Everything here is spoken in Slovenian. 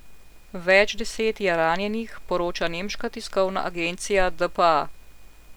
Več deset je ranjenih, poroča nemška tiskovna agencija dpa.